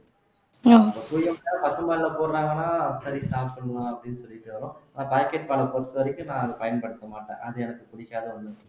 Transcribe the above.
இல்ல பசும் பால்ல போடறாங்கன்னா சரி சாப்பிடலாம் அப்படின்னு சொல்லிட்டு வரோம் ஆனா packet பாலைப் பொறுத்தவரைக்கும் நான் அதைப் பயன்படுத்த மாட்டேன் அது எனக்குப் பிடிக்காத ஒண்ணு